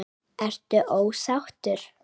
Ertu ósáttur?